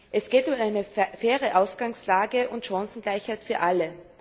Es geht um eine faire Ausgangslage und Chancengleichheit für alle.